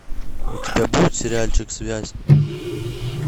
у тебя будет сериальчик связь